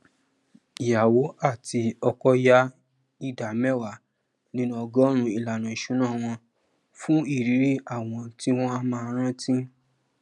ìyàwó àti ọkọ yà ìdá mẹwàá nínú ọgọọrún ìlànà isuná wọn fún irírí àwòrán tí wọn á máa rántí